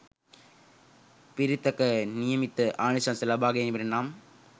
පිරිතක නියමිත ආනිශංස ලබාගැනීමට නම්